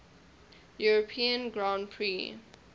european grand prix